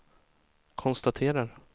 konstaterar